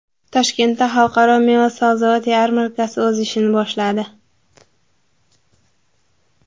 Toshkentda Xalqaro meva-sabzavot yarmarkasi o‘z ishini boshladi.